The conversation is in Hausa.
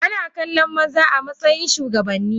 Ana kallon maza amatsayin shugabanni.